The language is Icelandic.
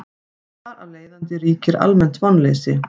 Þar af leiðandi ríkir almennt vonleysi.